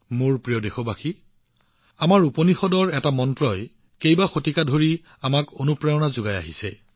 মোৰ মৰমৰ দেশবাসীসকল আমাৰ উপনিষদৰ এটা মন্ত্ৰই বহু শতাব্দী ধৰি আমাৰ সামূহিক চিন্তাধাৰাক অনুপ্ৰেৰণা যোগাই আহিছে